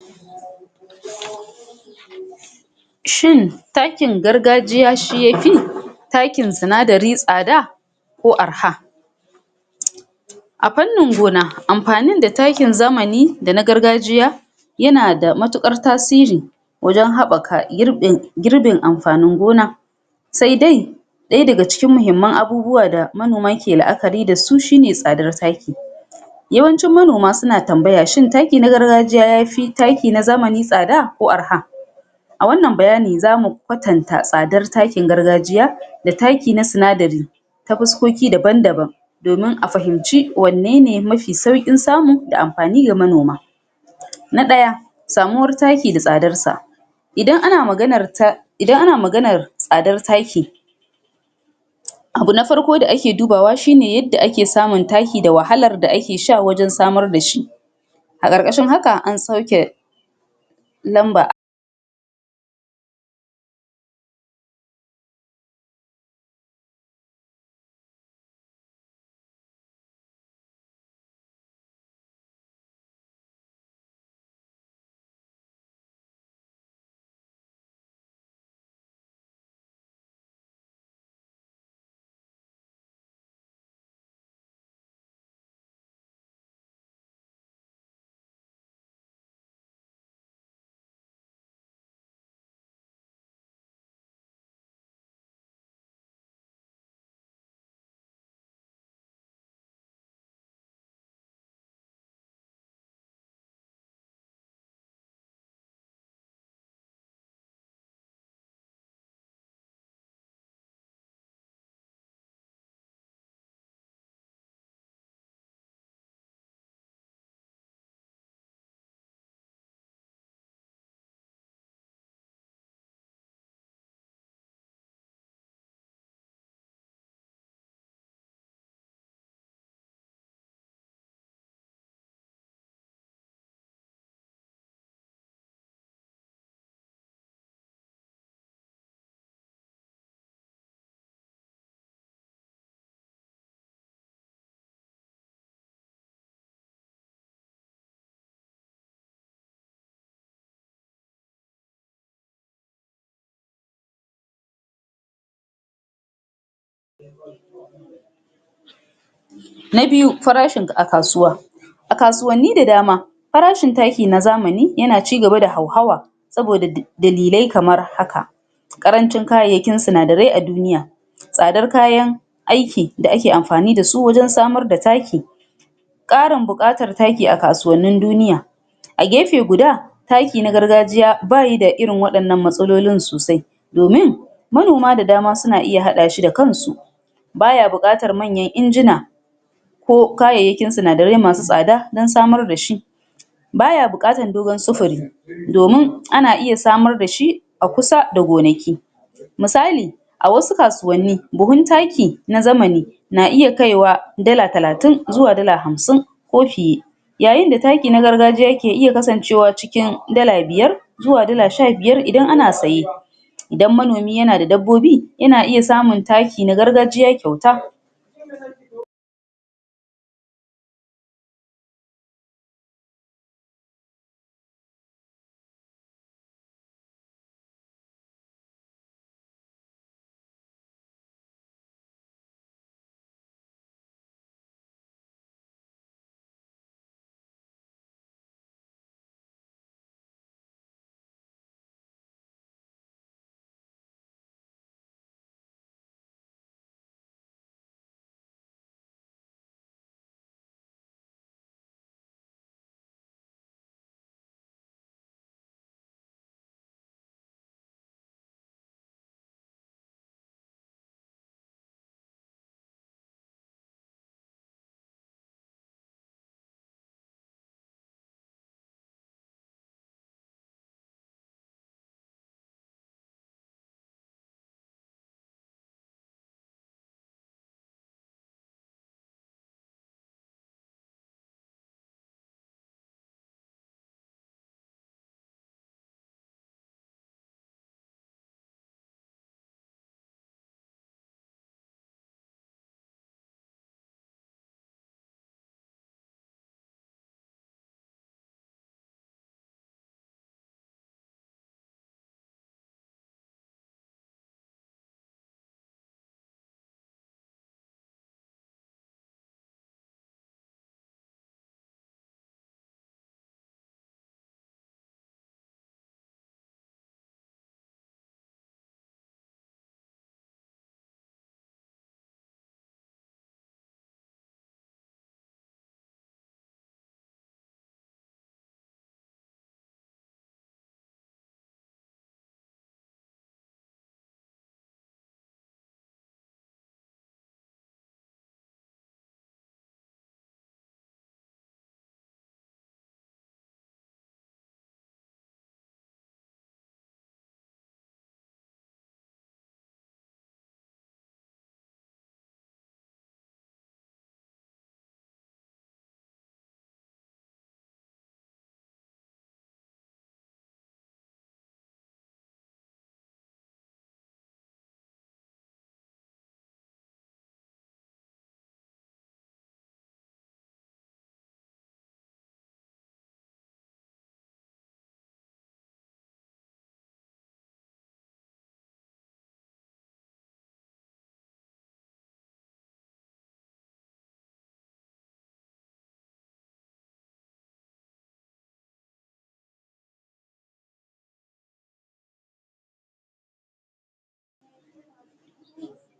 Shin takin gargajiya shi yafi takin sinadari tsada? ko arha? A fannin gona, amfani da takin zamani da na gargajiya yana da matuƙar tasiri wajen haɓaka girbin girbin amfanin gona sai dai ɗaya daga cikin muhimman abubuwa manoma ke la'akari dasu shine tsadar taki. yawancin manoma suna tambaya shin taki na gargajiya yafi taki na zamani tsada ko arha? A wannan bayani zamu kwatanta tsadar takin gargajiya da taki na sinadari ta fuskoki daban-daban. domin a fahimci wannene mafi saukin samu da amfani ga manoma. Na ɗaya, samuwar taki da tsdarsa. um Idan ana maganar tsadar taki abu na farko da ake dubawa shine yadda ake samun taki da wahalar da ake sha wurin samar da shi. A ƙarƙashin haka, an sauke lamba Na biyu, farashin a kasuwa. A kasuwanni da dama, farashin taki na zamani, yana cigaba da hauhawa saboda dalilai kamar haka: ƙarancin kayayyakin sinadarai a duniya, tsadar kayan aiki da ake amfani dasu wajen samar da taki ƙarin buƙatar taki a kasuwannin duniya. A gefe guda, taki na gargajiya, bayi da irin wannan matsalolin sosai. Domin manoma da dam suan iya haɗa shi da kansu. Baya buƙatar manyan injina, ko kayayyakin sinadarai masu tsada don samr dashi. Baya buƙatar dogo sufuri, domin ana iya smar dashi a kusa da gonaki. Misali, a wasu kasuwanni buhun taki na zamani, na iya kai wa dala 3- zuwa dala 50 ko fiye. Yayin da taki na gargajiya yake iya kasancewa cikin dala biyar zuwa dal sha biyar idan ana saye. Idan manomi yana da dabbobi, yana iya samun taki na gargajiya kyauta. ?]